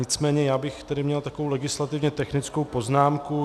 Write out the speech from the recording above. Nicméně já bych tedy měl takovou legislativně technickou poznámku.